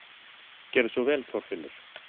Gerðu svo vel, Þorfinnur!